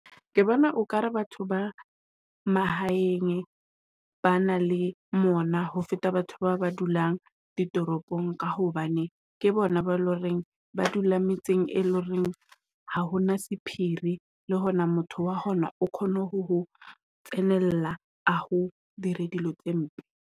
Ke bona okare batho ba mahaeng ba na le mona ho feta batho ba ba dulang di toropong ka hobane ke bona ba le hore reng ba dula metseng e loreng ha hona sephiri le hona, motho wa hona o kgone ho ho tsenela ho dira dilo tse mpe.